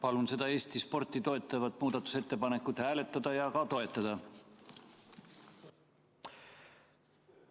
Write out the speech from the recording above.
Palun seda Eesti sporti toetavat muudatusettepanekut hääletada ja ka toetada!